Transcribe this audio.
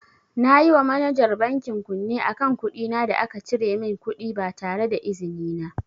Nayi wa manajar bankin kunne akan kuɗina da aka cire min kuɗi ba tareda izinin na.